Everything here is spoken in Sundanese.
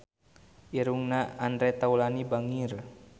Irungna Andre Taulany bangir